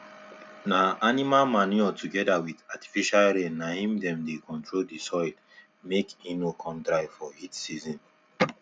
na animal manure together with artificial rain na him dem dey control the soil make e no con dry for heat season